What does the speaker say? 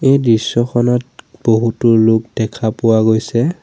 এই দৃশ্যখনত বহুতো লোক দেখা পোৱা গৈছে।